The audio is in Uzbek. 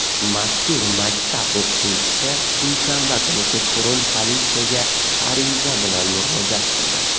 Mazkur maktab o‘qituvchisi dushanba kuni kechqurun politsiyaga ariza bilan murojaat qildi.